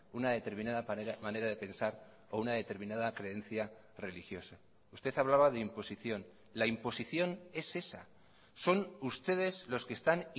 una determinada manera de pensar o una determinada creencia religiosa usted hablaba de imposición la imposición es esa son ustedes los que están